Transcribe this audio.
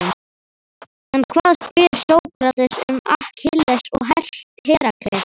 En hvað, spyr Sókrates, um Akkilles og Herakles?